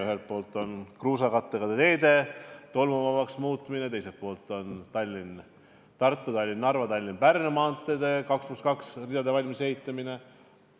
Ühelt poolt on plaanis kruusakattega teede tolmuvabaks muutmine, teiselt poolt aga Tallinna–Tartu, Tallinna–Narva, Tallinna–Pärnu maantee 2 + 2 rajalisena valmisehitamine.